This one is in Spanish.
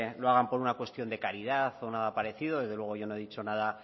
lo hagan por una cuestión de caridad o nada parecido desde luego yo no he dicho nada